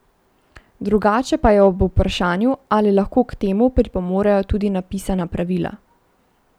Drugače pa je ob vprašanju, ali lahko k temu pripomorejo tudi napisana pravila.